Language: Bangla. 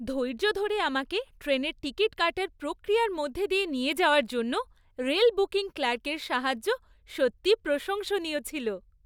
ধৈর্য ধরে আমাকে ট্রেনের টিকিট কাটার প্রক্রিয়ার মধ্যে দিয়ে নিয়ে যাওয়ার জন্য রেল বুকিং ক্লার্কের সাহায্য সত্যিই প্রশংসনীয় ছিল।